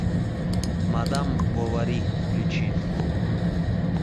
мадам бовари включи